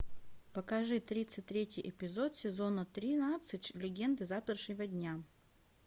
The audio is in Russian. покажи тридцать третий эпизод сезона тринадцать легенды завтрашнего дня